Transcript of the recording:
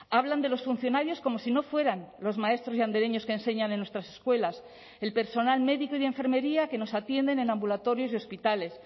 hablan de los funcionarios como si no fueran los maestros y andereños que enseñan en nuestras escuelas el personal médico y de enfermería que nos atienden en ambulatorios y hospitales